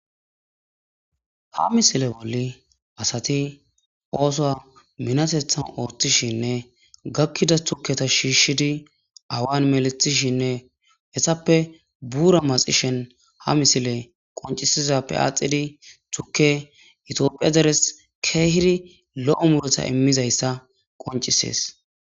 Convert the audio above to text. ha misile bolli asati ooso minatethan oortishinne gakkida tuketa shiishshidi awan melethishinne hessappe buura maxishen ha misile qoncisizappe aaxidi tukke itiophiya deres keehiri lo7o muretha immizayssa qoncisees